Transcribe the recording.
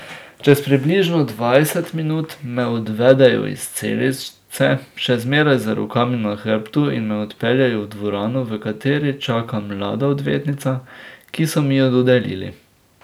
Čez približno dvajset minut me odvedejo iz celice, še zmeraj z rokami na hrbtu, in me odpeljejo v dvorano, v kateri čaka mlada odvetnica, ki so mi jo dodelili.